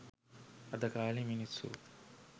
අද කාලේ මිනිස්සු